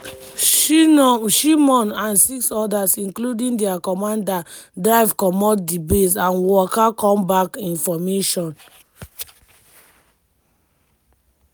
shimon and six odas including dia commander drive comot di base and waka come back in formation.